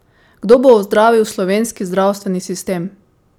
Kdo bo ozdravil slovenski zdravstveni sistem?